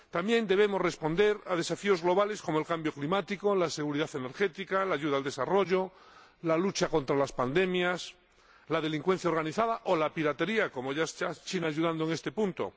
También debemos responder a desafíos globales como el cambio climático, la seguridad energética, la ayuda al desarrollo, la lucha contra las pandemias, la delincuencia organizada o la piratería —ya está China ayudando en este punto—.